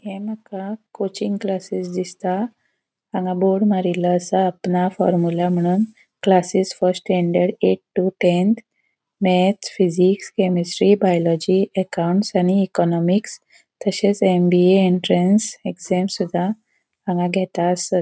ये मका coaching classes दिसता हांगा बोर्ड मारीलों असा अपना फॉर्मिला मुनोन classes first standard eight to tenth maths physics chemistry biology accounts {formula classes first standard eight to tenth maths physics chemistry biology accounts} आणि इकॉनॉमिक्स तशेच M. B. A. Entrance exams सूदा हांगा घेता आसत.